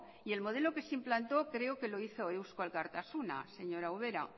y el modelo que se implantó creo que lo hizo eusko alkartasuna señora ubera